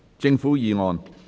政府議案。